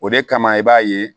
O de kama i b'a ye